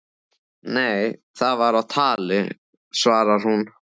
Nei það var á tali, svarar hún.